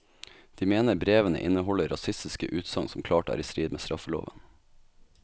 De mener brevene inneholder rasistiske utsagn som klart er i strid med straffeloven.